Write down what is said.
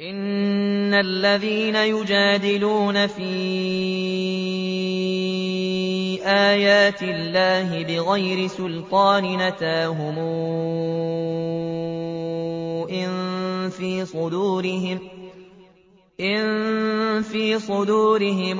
إِنَّ الَّذِينَ يُجَادِلُونَ فِي آيَاتِ اللَّهِ بِغَيْرِ سُلْطَانٍ أَتَاهُمْ ۙ إِن فِي صُدُورِهِمْ